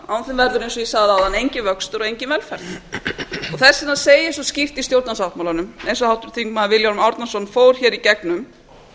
og ég sagði áðan enginn vöxtur og engin velferð þess vegna segir svo skýrt í stjórnarsáttmálanum eins og háttvirtur þingmaður vilhjálmur árnason fór hér í gegnum